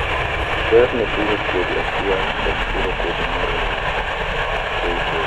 berr ne puro kodhi achiel kod puro kodhi moriwo. KK re 16 1500 1800 2.5 8-10